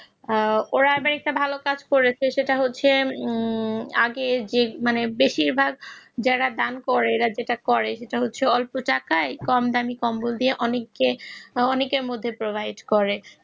ওরা আবার একটা ভালো কাজ করেছে সেটা হচ্ছে আগে মানে বেশিরভাগ যারা দান করে কিছু অল্প টাকায় কম দামি কম্বল দিয়ে অনেকের মধ্যে provide করে